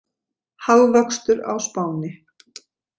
Hagvöxtur á Spáni